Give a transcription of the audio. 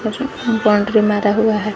Boundary मारा हुआ है।